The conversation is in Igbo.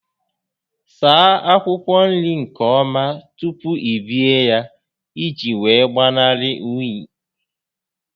Saa akwụkwọ nri nke ọma tupu i bee ya ị ji wee gbanarị únyí